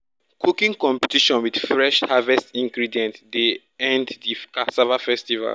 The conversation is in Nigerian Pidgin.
cooking competition with fresh harvest ingredient dey end the cassava festival.